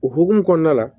O hukumu kɔnɔna la